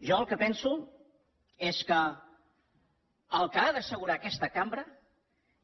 jo el que penso és que el que ha d’assegurar aquesta cambra